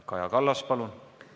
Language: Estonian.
Kaja Kallas, palun!